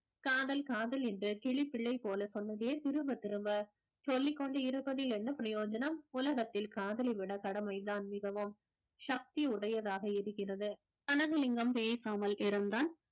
காதல் காதல் என்ற கிளிப்பிள்ளை போல சொன்னதே திரும்பத் திரும்ப சொல்லிக் கொண்டு இருப்பதில் என்ன பிரயோஜனம் உலகத்தில் காதலை விட கடமைதான் மிகவும் சக்தி உடையதாக இருக்கிறது கனகலிங்கம் பேசாமல் இருந்தான்